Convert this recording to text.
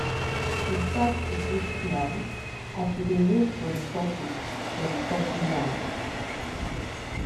she start to gist small as she dey wait for the coffee for the coffee line.